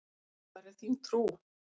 Hvar er þín trú?